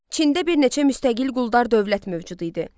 Çində bir neçə müstəqil quldar dövlət mövcud idi.